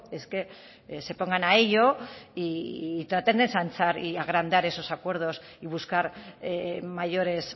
es que se pongan a ello y traten de ensanchar y agrandar esos acuerdos y buscar mayores